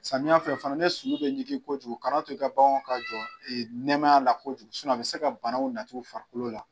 Samiya fɛ fana ne sulu bɛ ɲigin kojugu kan'a to i ka baganw ka jɔ nɛmaya la kojugu a bɛ se ka banaw nati u farikolo la.